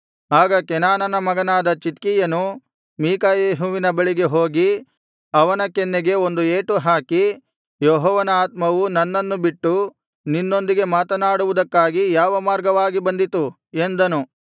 ಆಗ ಕೆನಾನನ ಮಗನಾದ ಚಿದ್ಕೀಯನು ಮೀಕಾಯೆಹುವಿನ ಬಳಿಗೆ ಹೋಗಿ ಅವನ ಕೆನ್ನೆಗೆ ಒಂದು ಏಟು ಹಾಕಿ ಯೆಹೋವನ ಆತ್ಮವು ನನ್ನನ್ನು ಬಿಟ್ಟು ನಿನ್ನೊಂದಿಗೆ ಮಾತನಾಡುವುದಕ್ಕಾಗಿ ಯಾವ ಮಾರ್ಗವಾಗಿ ಬಂದಿತು ಎಂದನು